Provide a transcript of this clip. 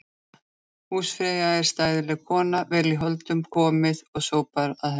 Húsfreyja er stæðileg kona, vel í hold komið og sópar að henni.